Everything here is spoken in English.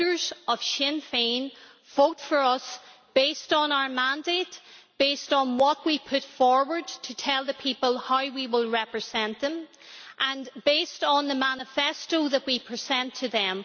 The voters of Sinn Féin vote for us based on our mandate, based on what we put forward to tell the people how we will represent them, and based on the manifesto that we present to them.